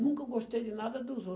Nunca gostei de nada dos